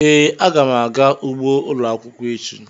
Ee, aga m aga ugbo ụlọ akwụkwọ echi